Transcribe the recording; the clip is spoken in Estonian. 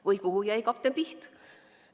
Või kuhu jäi kapten Piht?